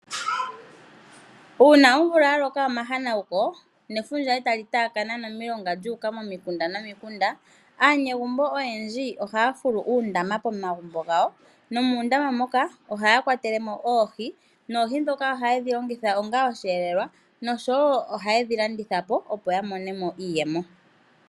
Una omvula yaloka omahanawuko nefundja etali taakana omilongo nomilonga lyuuka momikunda, aanegumbo oyendji ohaya fulu uundama pomagumbo gawo. Nomuundama moka ohaya kwatelemo oohi. Noohi dhoka ohayedhi longitha onga osheelelwa noshowo ohayedhi landitha po opo ya monemo iiyemo.